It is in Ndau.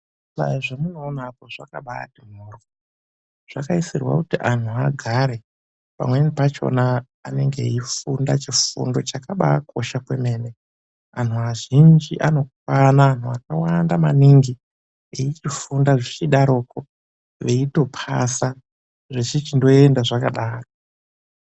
Zvihlayo zvemunoona apo zvakambaati mhoryo. Zvakaisirwa kuti antu agare. Pamweni pachona anenge eifunda chifundo chakabaakosha kwemene. Antu azhinji anokwana akawanda maningi veichifunda zvichidarokwo veitopasa zvechichindoenda zvakadaro